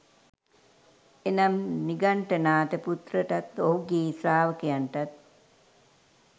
එනම් නිගණ්ඨනාථ පුත්‍රටත් ඔහුගේ ශ්‍රාවකයන්ටත්